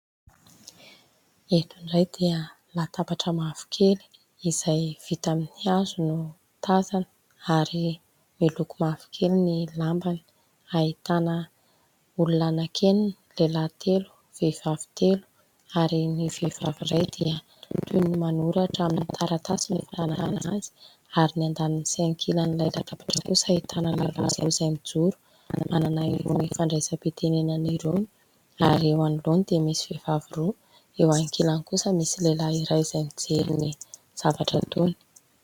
Eto indray dia latabatra mavokely, izay vita amin'ny hazo, no tazana ; ary miloko mavokely ny lambany. Ahitana olona anankienina : lehilahy telo, vehivavy telo ; ary ny vehivavy iray dia toy ny manoratra amin'ny taratasy no ahitana azy. Ary ny andaniny sy ankilan'ilay latabatra kosa, ahitana lehilahy iray, izay mijoro, manana irony fandraisam-pitenenana irony ; ary eo anoloany dia misy vehivavy roa ; eo ankilany kosa misy lehilahy iray izay mijery ny zavatra ataony.